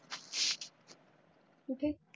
कुठे.